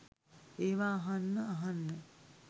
ඒවා අහන්න අහන්න